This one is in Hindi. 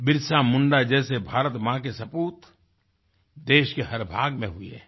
बिरसा मुंडा जैसे भारत माँ के सपूत देश के हर भाग में हुए है